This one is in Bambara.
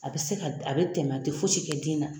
A bɛ se ka a bɛ tɛmɛ tɛ fosi kɛ den na.